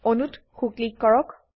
অণুত সো ক্লিক কৰক